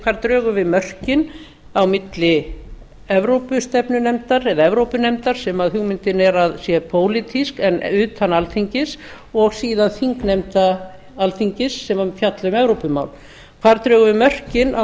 hvar drögum við mörkin á milli evrópustefnunefndar eða evrópunefndar sem hugmyndin er að sé pólitísk en utan alþingis og síðan þingnefnda alþingis sem mun fjalla um evrópumál þar drögum við mörkin á